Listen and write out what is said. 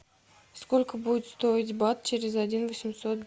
сколько будет стоить бат через один восемьсот